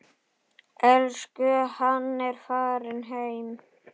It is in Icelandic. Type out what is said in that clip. Elsku Hanna er farin heim.